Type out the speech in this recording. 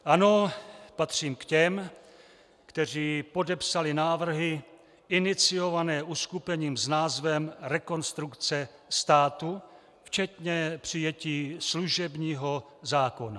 Ano, patřím k těm, kteří podepsali návrhy iniciované uskupením s názvem Rekonstrukce státu včetně přijetí služebního zákona.